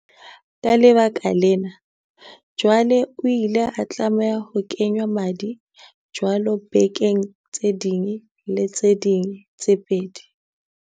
Ka lebaka lena, jwale o ile a tlameha ho kengwa madi jwalo bekeng tse ding le tse ding tse pedi.